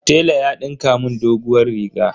Tela ya dinka mun doguwar riga.